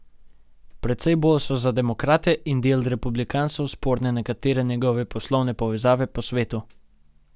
Precej bolj so za demokrate in del republikancev sporne nekatere njegove poslovne povezave po svetu.